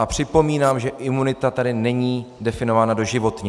A připomínám, že imunita tady není definována doživotně.